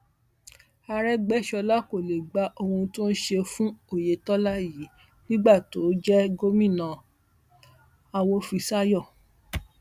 àrègbèsọlá kò lè gba ohun tó ń ṣe fún oyetola yìí nígbà tóun jẹ gómìnà awòfiṣàyò